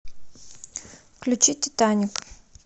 включи титаник